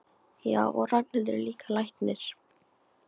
Já, og Ragnhildur er líka læknir.